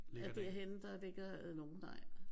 At derhenne der ligger nogen nej